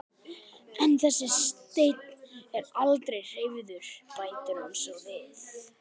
En þessi steinn er aldrei hreyfður, bætir hún svo við.